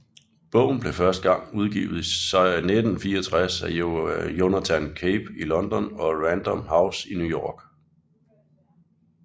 Bogen blev første gang udgivet i 1964 af Jonathan Cape i London og Random House i New York